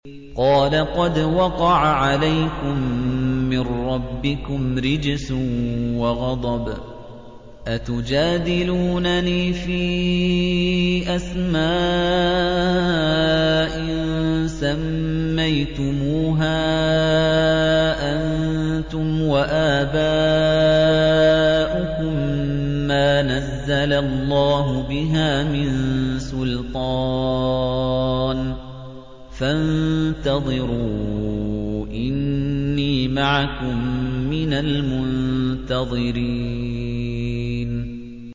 قَالَ قَدْ وَقَعَ عَلَيْكُم مِّن رَّبِّكُمْ رِجْسٌ وَغَضَبٌ ۖ أَتُجَادِلُونَنِي فِي أَسْمَاءٍ سَمَّيْتُمُوهَا أَنتُمْ وَآبَاؤُكُم مَّا نَزَّلَ اللَّهُ بِهَا مِن سُلْطَانٍ ۚ فَانتَظِرُوا إِنِّي مَعَكُم مِّنَ الْمُنتَظِرِينَ